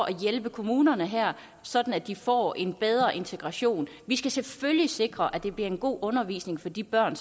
at hjælpe kommunerne her sådan at de får en bedre integration vi skal selvfølgelig sikre at det bliver en god undervisning for de børn